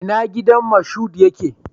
Ina gidan Moshood yake?